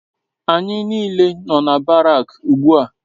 ANYI n'ile no na Barak ugbua